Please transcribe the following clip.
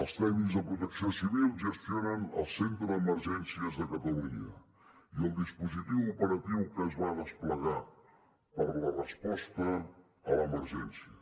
els tècnics de protecció civil gestionen el centre d’emergències de catalunya i el dispositiu operatiu que es va desplegar per a la resposta a l’emergència